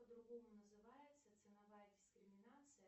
по другому называется ценовая дискриминация